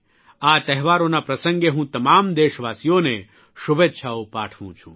આ તહેવારોના પ્રસંગે હું તમામ દેશવાસીઓને શુભેચ્છાઓ પાઠવું છું